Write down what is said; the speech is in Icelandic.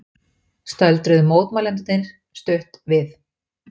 Stöldruðu mótmælendurnir stutt við